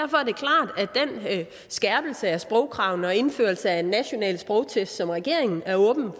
skærpelse af sprogkravene og indførelse af en national sprogtest som regeringen er åben